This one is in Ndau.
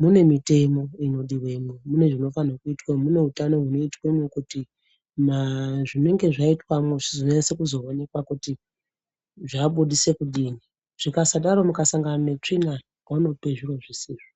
mune mitemo inodiwemwo mune zvinofane kuitwa munoutano hunoitwemwo kuti maa zvinenge zvaitwemwo zvizonyase kuzoonekwa kuti zvabudise kudini zvikasadaro mukasangane netsvina vanope zviro zvsizvo.